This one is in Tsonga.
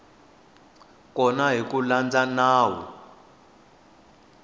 kona hi ku landza nawu